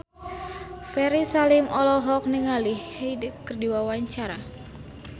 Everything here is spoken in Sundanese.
Ferry Salim olohok ningali Hyde keur diwawancara